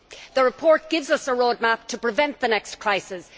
The report gives us a roadmap to prevent the next crisis.